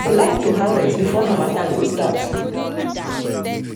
i dey like to harvest before harmattan go start.